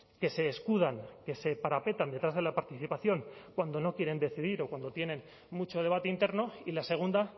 que se escudan que se parapetan detrás de la participación cuando no quieren decidir o cuando tienen mucho debate interno y la segunda